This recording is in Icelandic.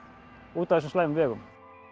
út af þessum slæmu vegum